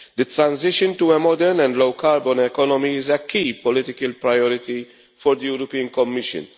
The transition to a modern and low carbon economy is a key political priority for the Commission.